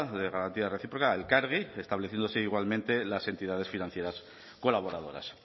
de garantía recíproca a elkargi estableciéndose igualmente las entidades financieras colaboradoras